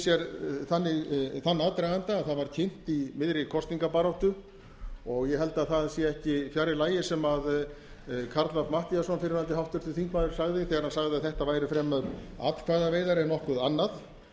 sér þann aðdraganda að það var kynnt í miðri kosningabaráttu og ég held að það sé ekki fjarri lagi sem karl fimmti matthíasson háttvirtur fyrrverandi þingmaður sagði þegar hann sagði að þetta væru fremur atkvæðaveiðar en nokkuð annað